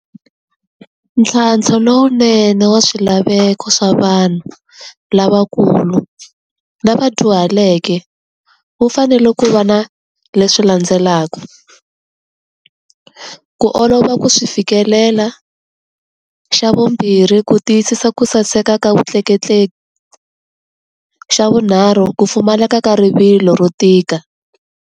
Ntlhantlho lowunene wa swilaveko swa vanhu lavakulu lava vadyuhaleke, wu fanele ku va na leswi landzelaka. Ku olova ku swi fikelela, xa vumbirhi ku tiyisisa ku saseka ka vutleketleki, xa vunharhu ku pfumaleka ka rivilo ro tika.